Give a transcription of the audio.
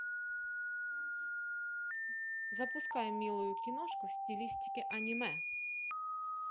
запускай милую киношку в стилистике аниме